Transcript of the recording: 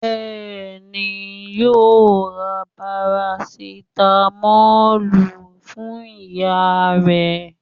Bẹ́ẹ̀ni, yóò ra parasitamọ́lù fún ìyá rẹ̀